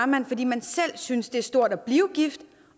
man fordi man selv synes det er stort at blive gift